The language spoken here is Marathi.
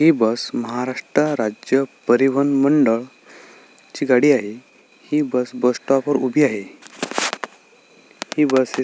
ही बस महाराष्ट्र राज्य बस परिवहन मंडळ ची गाडी आहे हि बस स्टॉप वर उभी आहे ही बस--